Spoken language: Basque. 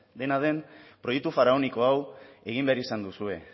dena den proiektu faraoniko hau egin behar izan duzue